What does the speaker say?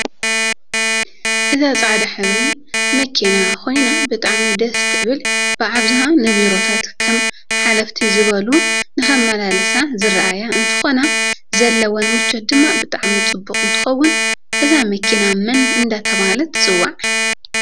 እዛ ፃዕዳ ሕብሪ መኪና ኮይና ብጣዓሚ ደስ ትብ ል ብኣብዛሓ ንቢሮታት ከም ሓለፊት ዝበሉ ንክማላልሲ ዝርኣያ እንትኮና ዘለወን ምቸት ድማ ብጣዓሚ ፅቡቅ እንትከውን እዛ መኪናመን እዳተበሃለት ትፅዋዕ?